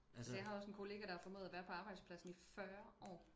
Altså jeg har også en kollega der har for, ået og være på arbejdspladsen i fyrre år